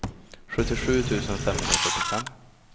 sjuttiosju tusen femhundrafyrtiofem